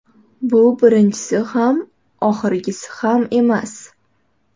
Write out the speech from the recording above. Bu birinchisi ham emas, oxirgisi ham emas”.